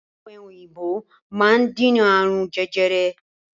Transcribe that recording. Ọ̀pẹ̀ òyìnbò máa ń dènà ààrùn jẹjẹrẹ.